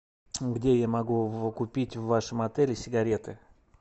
где я могу купить в вашем отеле сигареты